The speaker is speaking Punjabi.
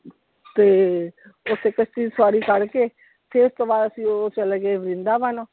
ਤੇ, ਦੀ ਸਵਾਰੀ ਕਰ ਕੇ ਫਿਰ ਉਤੋਂ ਬਾਅਦ ਅਸੀਂ ਉਹ ਚਲੇਗੇ ਵ੍ਰਿੰਦਾਵਨ।